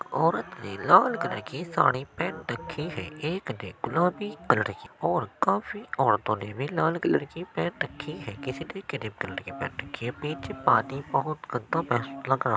औरत ने लाल कलर की साड़ी पेहन रखी है | एक ने गुलाबी कलर की और काफी औरतो ने भी लाल कलर की पहन रखी है किसी ने क्रीम कलर की पहन रखी है पीछे पानी बोहत गन्दा --